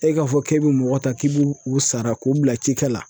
E k'a fɔ k'e be mɔgɔ ta k'i b'o o sara k'u bila ci kɛ la